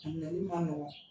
A nali ma nɔgɔ.